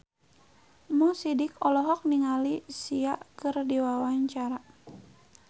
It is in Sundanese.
Mo Sidik olohok ningali Sia keur diwawancara